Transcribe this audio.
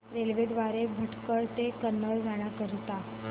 railway द्वारे भटकळ ते कन्नूर जाण्या करीता